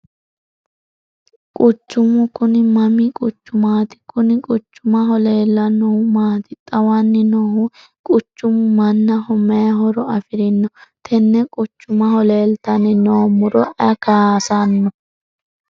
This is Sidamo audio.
quchumu kuni mami quchumaati? kuni quchumaho leellannohu maati xawanni noohu? quchumu mannaho mayi horo afirino? tenne quchumaho leeltanni noo muro ayi kaasanno?